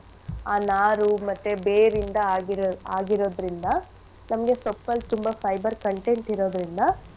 ಆ ನಾರೂ ಮತ್ತೆ ಬೇರಿಂದ ಆಗಿರೋ~ ಆಗಿರೊದ್ರಿಂದ ನಮ್ಗೆ ಸೊಪ್ಪಲ್ ತುಂಬಾ fiber content ಇರೋದ್ರಿಂದ.